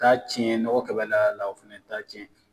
Taa tiɲɛ nɔgɔ kɛ bɛ la la o fana taa tiɲɛ.